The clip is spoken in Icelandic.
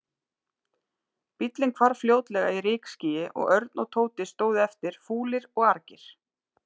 Bíllinn hvarf fljótlega í rykskýi og Örn og Tóti stóðu eftir, fúlir og argir.